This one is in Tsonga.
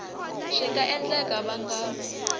swi nga endleka va nga